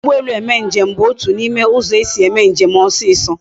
Iji ugbo elu mee nje m bu otu na ime uzo esi eme njem oso oso